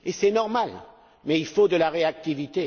Et c'est normal, mais il faut de la réactivité.